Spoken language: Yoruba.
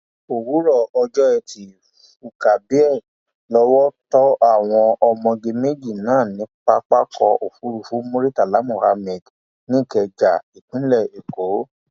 òwúrọ ọjọ etí furcabee lowó tó àwọn ọmọge méjì náà ní pápákọ òfurufú murità mohammed nìkẹja ìpínlẹ èkó